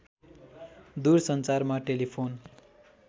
दुर सञ्चारमा टेलिफोन